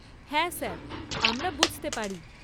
হ্যাঁ স্যার। আমরা বুঝতে পারি।